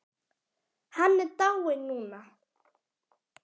Hann er dáinn núna.